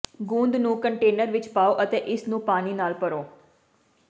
ਗੂੰਦ ਨੂੰ ਕੰਟੇਨਰ ਵਿੱਚ ਪਾਓ ਅਤੇ ਇਸ ਨੂੰ ਪਾਣੀ ਨਾਲ ਭਰੋ